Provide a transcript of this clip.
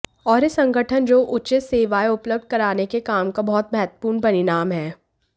और यह संगठन जो उचित सेवाएं उपलब्ध कराने के काम का बहुत महत्वपूर्ण परिणाम है